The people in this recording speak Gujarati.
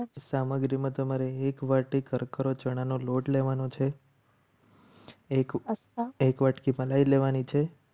સામગ્રી ચણાનો લોટ લેવાનો છે. એક વાટલી મલાઈ લેવાની છે.